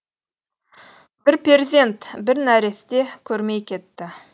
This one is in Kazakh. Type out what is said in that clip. бір перзент бір нәресте көрмей кетті